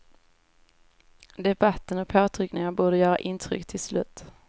Debatten och påtryckningarna borde göra intryck till slut.